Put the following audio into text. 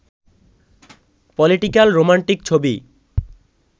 political romantic ছবি